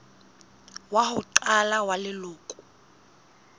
wa ho qala wa leloko